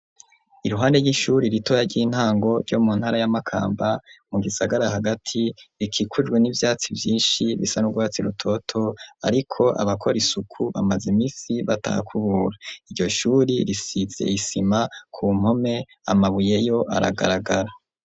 Iruhande y'ishuri ritoya ry'intango ryo mu ntara ya makamba mu gisagara hagati rikikujwe n'ivyatsi vyinshi bisa n’urwatsi rutoto ariko abakora isuku bamaze imisi batahakubura, iryo shuri risize isima ku mpome amabuye yo aragaragara.